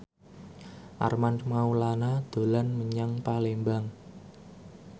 Armand Maulana dolan menyang Palembang